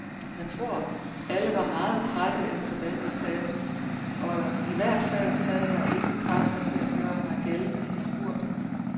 Jeg tror, alle var meget trætte efter denne etape, og i hvert fald havde jeg ingen kræfter til at gøre mig gældende i spurten.